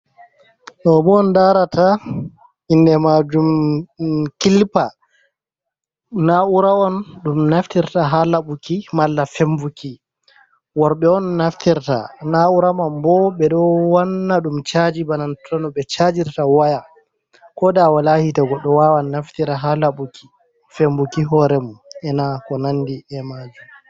Ɗo bo on larata inde majum kilipa na'ura on ɗum naftirta ha labuki malla fembuki worɓe on naftirta na'ura man bo ɓeɗo wanna ɗum chaji bana tono ɓe chajirta waya koda wala hiite goɗɗo wawan naftira ha labuki fembuki hore mum ena ko nandi e majum.